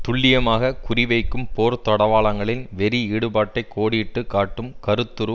துல்லியமாக குறி வைக்கும் போர்தளவாடங்களின் வெறி ஈடுபாட்டை கோடிட்டு காட்டும் கருத்துரு